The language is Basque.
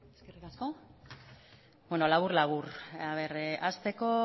beno labur labur hasteko